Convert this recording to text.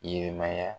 Ɲɛnɛmaya